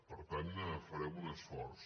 per tant farem un esforç